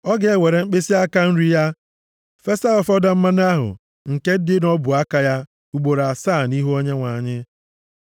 ọ ga-ewere mkpịsịaka nri ya fesa ụfọdụ mmanụ ahụ nke dị nʼọbụaka ya ugboro asaa nʼihu Onyenwe anyị.